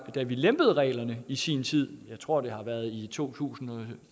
lempede reglerne i sin tid jeg tror det har været i to tusind og